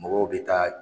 Mɔgɔw bɛ taa